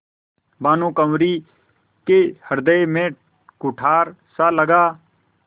भानुकुँवरि के हृदय में कुठारसा लगा